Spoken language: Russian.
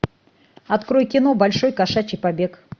открой кино большой кошачий побег